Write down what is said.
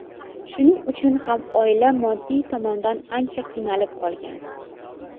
Shuning uchun ham oila moddiy tomondan ancha qiynalib qolgan.